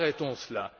Arrêtons cela.